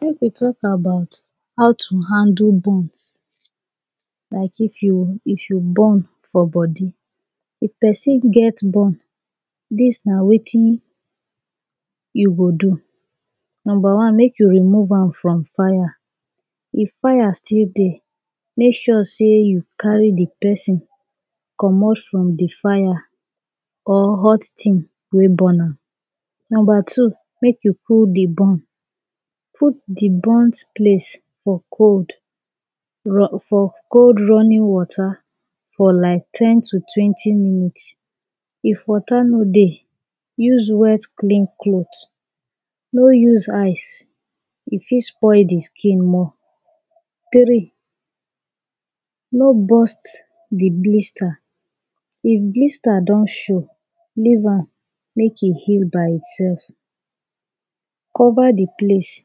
Make we talk about how to handle burns. Like, if you, if you burn for body. If pesin get burn, dis na wetin you go do. Number one make you remove am from fire. If fire still dey, make sure sey you carry de pesin comot from de fire or hot tin wey burn am. Number two, make you cool de burn. Put de burnt place for cold for cold running water for like ten to twenty minutes. If water no dey use wet clean clothes, no use ice, e fit spoil de skin more. Tri, no burst de blister. If blister don show, leave am make e heal by itself. Cover de place,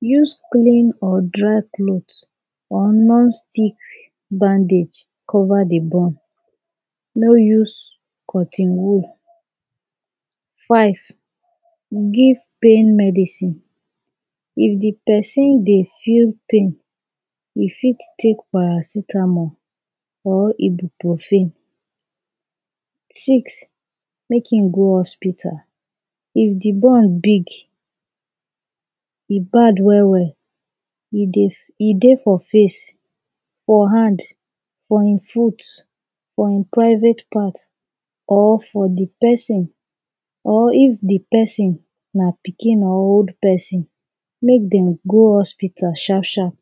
use clean or dry clothes or non-stick bandage cover de burn. No use cotton wool. Five, give pain medicine. If de pesin dey feel pain, e fit take paracetamol or ibuprofen. Six, make e go hospital if de burn big, e bad well well, e dey, e dey for face, for hand, for e foot, for e private part or for de pesin or if de pesin na pikin or old pesin make dem go hospital sharp sharp.